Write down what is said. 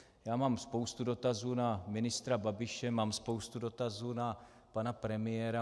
Já mám spoustu dotazů na ministra Babiše, mám spoustu dotazů na pana premiéra.